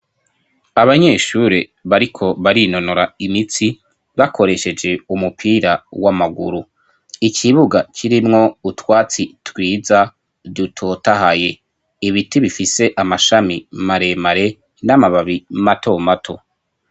Abanyeshuri bariko barinonora imitsi, bakoresheje umupira w'amaguru. Ikibuga kirimwo utwatsi twiza dutotahaye. Ibiti bifise amashami maremare n'amababi mato mato.